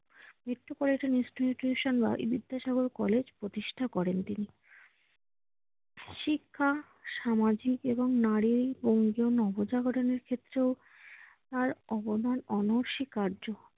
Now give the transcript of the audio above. Metropolitan institution বা Vidyasagar college প্রতিষ্ঠা করেন তিনি। শিক্ষা, সামাজিক এবং নারীর ক্ষেত্রেও তার অবদান অনস্বীকার্য।